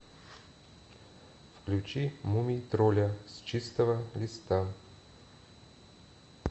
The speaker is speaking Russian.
включи мумий тролля с чистого листа